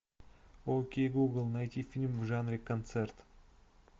окей гугл найти фильм в жанре концерт